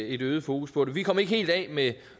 et øget fokus på det vi kom ikke helt af med